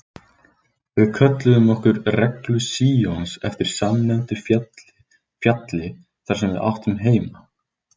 Við kölluðum okkur Reglu Síons eftir samnefndu fjalli þar sem við áttum heima.